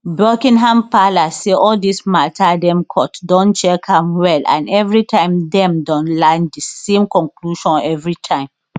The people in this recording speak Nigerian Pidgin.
buckingham palace say all dis mata dem court don check am well and evritime dem don land di same conclusion evritime